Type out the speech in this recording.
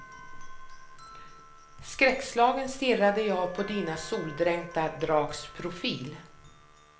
Skräckslagen stirrade jag på dina soldränkta drags profil.